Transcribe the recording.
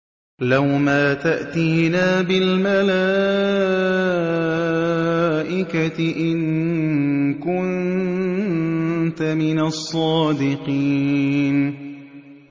لَّوْ مَا تَأْتِينَا بِالْمَلَائِكَةِ إِن كُنتَ مِنَ الصَّادِقِينَ